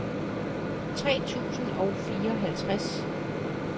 tre tusind og fireoghalvtreds